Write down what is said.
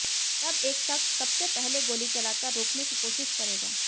तब एक शख्स सबसे पहले गोली चलाकर रोकने की कोशिश करेगा